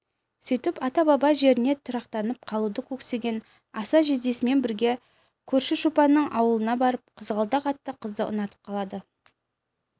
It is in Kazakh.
сөйтіп ата-баба жеріне тұрақтанып қалуды көксеген аса жездесімен бірге көрші шопанның ауылына барып қызғалдақ атты қызды ұнатып қалады